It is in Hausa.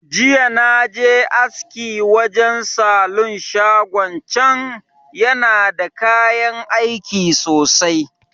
Jiya naje aski wajan salon shagon can, yana da kayan aiki sosai.